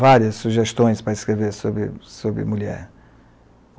Várias sugestões para escrever sobre sobre mulher.